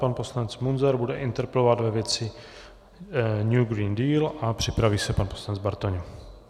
Pan poslanec Munzar bude interpelovat ve věci New Green Deal a připraví se pan poslanec Bartoň.